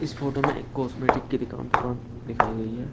इस फोटो में एक कॉस्मेटिक की दिकान दुकान दिखाई गई हैं।